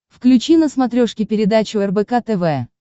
включи на смотрешке передачу рбк тв